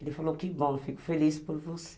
Ele falou que bom, fico feliz por você.